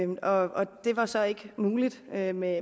og det var så ikke muligt med med